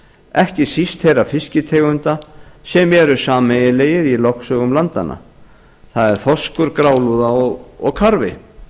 ekki síst þeirra fisktegunda sem eru sameiginlegir í lögsögum landanna það er þorskur grálúða og karfi